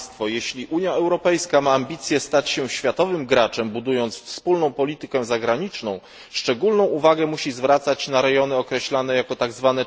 Jeśli Unia Europejska ma ambicje stać się światowym graczem, budując wspólną politykę zagraniczną, szczególną uwagę musi zwracać na rejony określane jako tzw.